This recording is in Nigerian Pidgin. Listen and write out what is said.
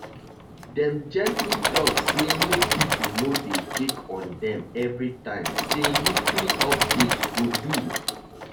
dem gently talk say make people no dey check on dem every time say weekly update go do.